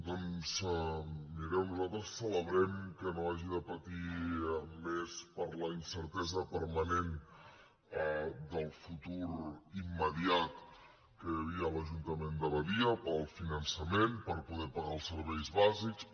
doncs mireu nosaltres celebrem que no s’hagi de patir més per la incertesa permanent del futur immediat que hi havia a l’ajuntament de badia pel finançament per poder pagar els serveis bàsics